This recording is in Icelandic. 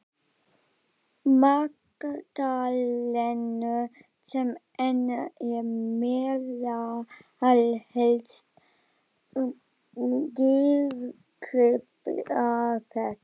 Magdalenu sem enn er meðal helstu dýrgripa þess.